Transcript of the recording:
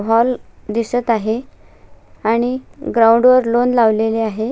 Hall दिसत आहे आणि ग्राउंड वर लॉन लावलेले आहे.